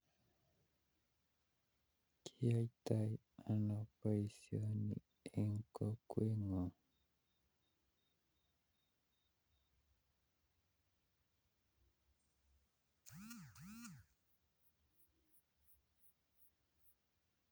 Kiyoito ono boisioni eng kokweung